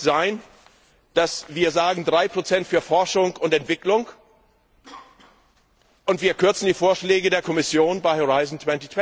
Es kann doch nicht sein, dass wir sagen, 3 für Forschung und Entwicklung, und wir kürzen die Vorschläge der Kommission bei Horizont